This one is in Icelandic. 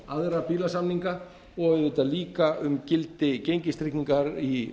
aðra bílasamninga og auðvitað líka um gildi gengistryggingar í